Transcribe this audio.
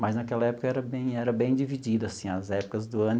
Mas naquela época era bem era bem dividido, assim, as épocas do ano.